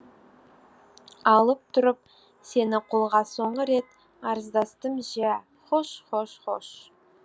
алып тұрып сені қолға соңғырет арыздастым жә хош хош хош